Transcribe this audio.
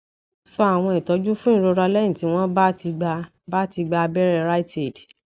so àwọn itoju fun ìrora lẹyìn tí wọn bá ti gba bá ti gba aberẹ riteaid